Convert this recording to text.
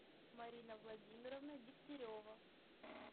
марина владимировна дегтярева